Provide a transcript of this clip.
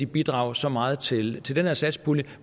bidrage så meget til til den her satspulje